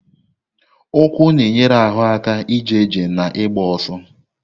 Ụkwụ na-enyere ahụ aka ije ije na ịgba ọsọ.